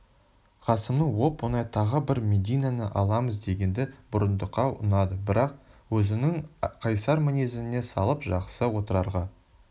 қасымның оп-оңай тағы бір мединаны аламыз дегені бұрындыққа ұнады бірақ өзінің қайсар мінезіне салып жақсы отырарға